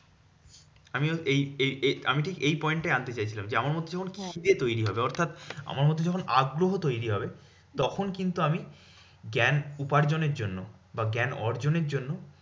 আমিও এই এই এই আমি ঠিক এই point টাই আনতে চাইছিলাম যে, আমার মধ্যে যখন খিদে তৈরী হবে, অর্থাৎ আমার মধ্যে যখন আগ্রহ তৈরী হবে, তখন কিন্তু আমি জ্ঞান উপার্জনের জন্য বা জ্ঞান অর্জনের জন্য